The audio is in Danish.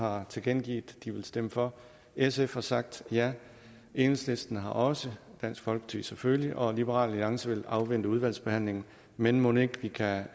har tilkendegivet at de vil stemme for sf har sagt ja enhedslisten har også dansk folkeparti selvfølgelig og liberal alliance vil afvente udvalgsbehandlingen men mon ikke vi kan